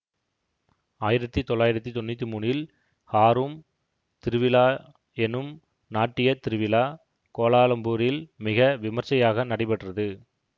ஆயிரத்தி தொள்ளாயிரத்தி தொன்னூத்தி மூனில் ஹாரும் திருவிழா எனும் நாட்டியத் திருவிழா கோலாலம்பூரில் மிக விமர்சையாக நடைபெற்றது